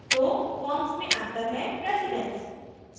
दो फॉर्म्स मे अंतर है प्रेसिडन्स